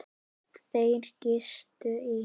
Þeir gistu í